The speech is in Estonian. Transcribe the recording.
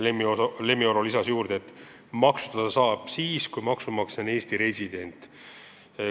Lemmi Oro lisas juurde, et maksustada saab siis, kui maksumaksja on Eesti resident.